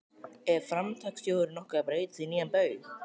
Er Framtakssjóðurinn nokkuð að breytast í nýja Baug?